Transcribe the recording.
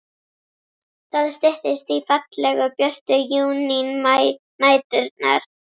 Það styttist í fallegu, björtu júnínæturnar.